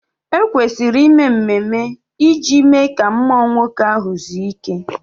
E kwesịrị ime mmemme iji mee ka mmụọ nwoke ahụ zuo ike